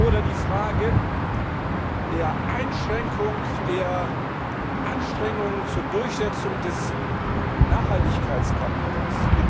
Oder die Frage der Einschränkung der Anstrengungen zur Durchsetzung des Nachhaltigkeitskapitels.